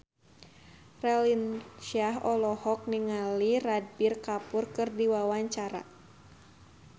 Raline Shah olohok ningali Ranbir Kapoor keur diwawancara